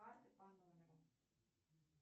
карты по номеру